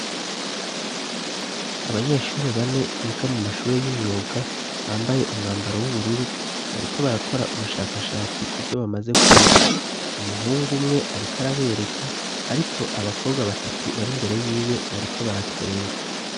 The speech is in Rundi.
Abanyeshuri bane bika mu mashuri y'imyuga bambaye umwambaro w'ubururu bariko barakora ubushakashatsi kubyo bamaze kwika umuhungu umwe ariko arabereka ariko abakobwa batatu bari mbere y'iwe bariko baratwenga.